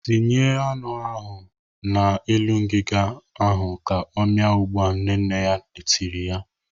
"Tinye anụ ahụ n'elu ngiga ahụ ka ọ mịa ugbu a!" Nne nne ya tiri.